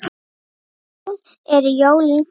Jón: Eru jólin komin?